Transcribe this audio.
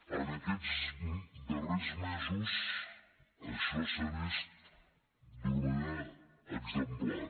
en aquests darrers mesos això s’ha vist d’una manera exemplar